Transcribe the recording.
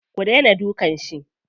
Ku daina dukan shi.